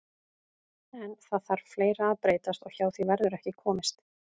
En það þarf fleira að breytast og hjá því verður ekki komist.